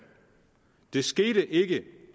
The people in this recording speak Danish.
det skete ikke